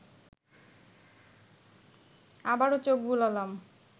আবার চোখ বুলালাম